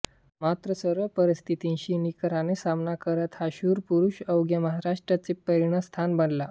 मात्र सर्व परिस्थितींशी निकराने सामना करत हा शूर पुरुष अवघ्या महाराष्ट्राचे प्रेरणास्थान बनला